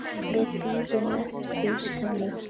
Við bíðum eftir henni